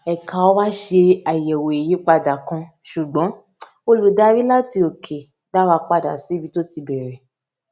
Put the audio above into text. èka wá ṣe àyèwò ìyípadà kan ṣùgbọn olùdarí láti òkè dá wa padà síbi tó ti bèrè